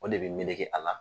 O le bɛ meleke a la.